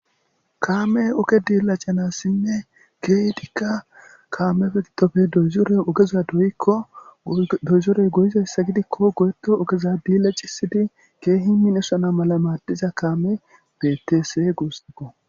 Kaame ooge dilacanasinne keehidikka kaame giddoppe doozorey oogeza doyikko doozorey goyizayssa gidikko goyeto oogeza dillacisidi keehi minnosana mala maaddiza kaame bettese guussakko